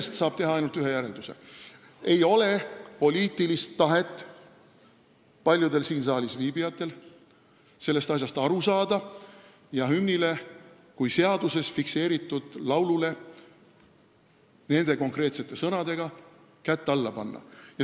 Siit saab teha ainult ühe järelduse: paljudel siin saalis viibijatel ei ole poliitilist tahet sellest asjast aru saada ja hümnile kui seaduses fikseeritud laulule nende konkreetsete sõnadega kätt alla panna.